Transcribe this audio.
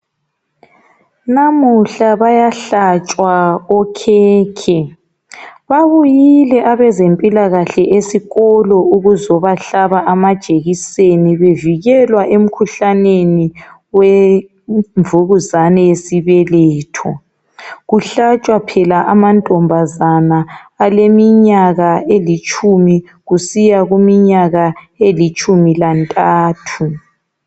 Namuhla bayahlatshwa okhekhe. Babuyile abezempilakahle esikolo ukuzobahlaba amajekiseni bevikelwa emikhuhlaneni wemvubuzane yesibeletho. Kuhlatshwa phela amantombazana aleminyaka elitshumi kusiya kuminyaka elitshumi lantathu.